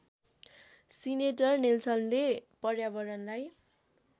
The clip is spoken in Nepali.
सीनेटर नेल्सनले पर्यावरणलाई